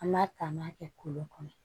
An b'a ta an b'a kɛ kolo kɔnɔ